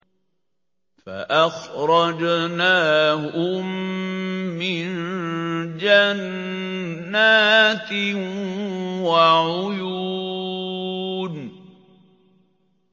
فَأَخْرَجْنَاهُم مِّن جَنَّاتٍ وَعُيُونٍ